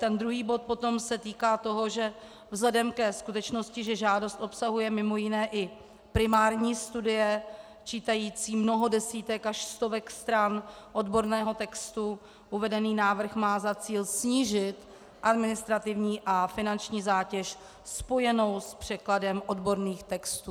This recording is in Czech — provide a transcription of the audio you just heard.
Ten druhý bod potom se týká toho, že vzhledem ke skutečnosti, že žádost obsahuje mimo jiné i primární studie čítající mnoho desítek až stovek stran odborného textu, uvedený návrh má za cíl snížit administrativní a finanční zátěž spojenou s překladem odborných textů.